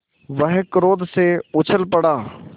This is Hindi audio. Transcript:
वह क्रोध से उछल पड़ा